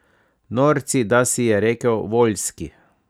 Norci, da, si je rekel Voljski.